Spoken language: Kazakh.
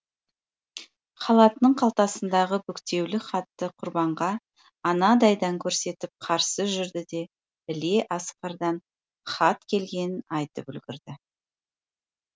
халатының қалтасындағы бүктеулі хатты құрбанға анадайдан көрсетіп қарсы жүрді де іле асқардан хат келгенін айтып үлгерді